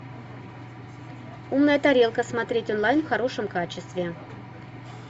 умная тарелка смотреть онлайн в хорошем качестве